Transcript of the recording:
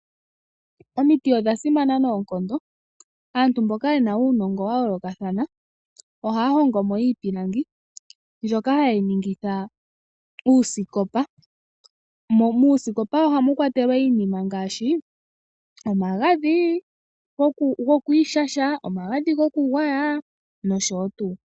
Omiti odha simana noonkondo aantu mboka yena uunongo wa yoolokathana ohaya hongo moiipilangi mbyoka hayeyi ningitha uusikopa, mo muusikopa ohamu kwatelwa iinima ngaashi omagadhi go kwiishasha, omagadhi goku gwaya no sho tuu.